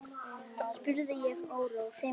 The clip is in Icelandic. spurði ég órór.